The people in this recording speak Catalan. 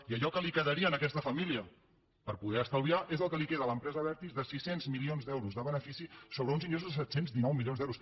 i allò que li quedaria a aquesta família per poder estalviar és el que li queda a l’ empresa abertis de sis cents milions d’euros de benefici sobre uns ingressos de set cents i dinou milions d’euros